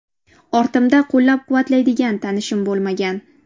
Ortimda qo‘llab-quvvatlaydigan tanishim bo‘lmagan.